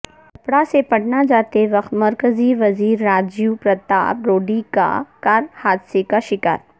چھپڑہ سے پٹنہ جاتے وقت مرکزی وزیرراجیو پرتاپ روڈی کی کار حادثہ کا شکار